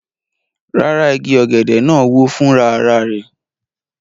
Rárá, igi ọ̀gẹ̀dẹ̀ náà wó fúnra ara rẹ̀